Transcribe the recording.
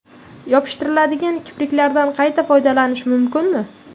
Yopishtiriladigan kipriklardan qayta foydalanish mumkinmi?